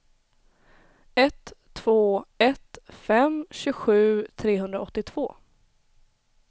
ett två ett fem tjugosju trehundraåttiotvå